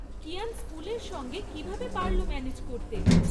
কিয়ান স্কুলের সঙ্গে কীভাবে পারল ম্যানেজ করতে?